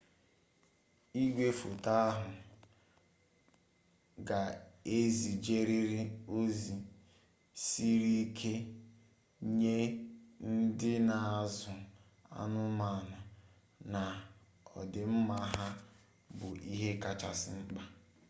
igwefoto ahụ ga ezijeriri ozi siri ike nye ndị na azụ anụmanụ na odịmma ha bụ ihe kacha mkpa